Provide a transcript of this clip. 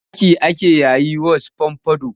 Wani aski ake yayi was fomfado